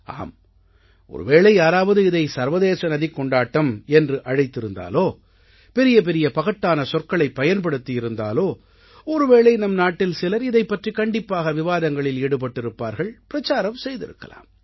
ஆம் ஒருவேளை யாராவது இதை சர்வதேச நதிக் கொண்டாட்டம் என்று அழைத்திருந்தாலோ பெரிய பெரிய பகட்டான சொற்களைப் பயன்படுத்தி இருந்தாலோ ஒருவேளை நம் நாட்டில் சிலர் இதைப் பற்றிக் கண்டிப்பாக விவாதங்களில் ஈடுபட்டிருப்பார்கள் பிரச்சாரம் செய்திருக்கலாம்